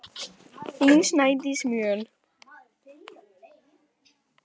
Þín, Snædís Mjöll.